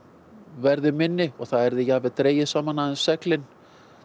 verði minni og það yrðu jafnvel dregin saman seglin